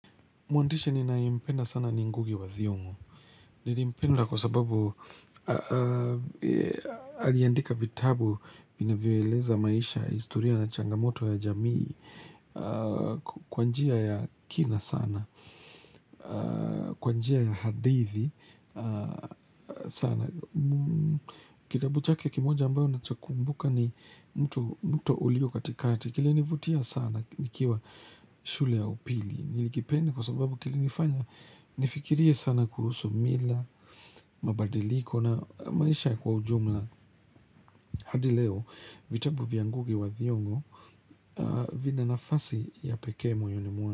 Mwandisha ninayempenda sana ni ngugi wa thiongo. Nilimpenda kwa sababu aliandika vitabu vinavyoeleza maisha, historia na changamoto ya jamii, kwa njia ya kina sana, kwa njia ya hadithi sana. Kitabu chake kimoja ambayo nacho kumbuka ni mtu ulio katikati. Kilinivutia sana nikiwa shule ya upili. Nilikipenda kwa sababu kilinifanya nifikirie sana kuhusu mila mabadiliko na maisha kwa ujumla hadi leo vitabu vya ngugi wa thiongo vina nafasi ya pekee moyoni mwa.